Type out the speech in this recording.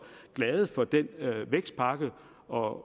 glade for den vækstpakke og